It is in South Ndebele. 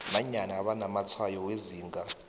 nanyana banamatshwayo wezinga